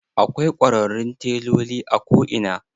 Akwai kwararrun teloli a ko ina.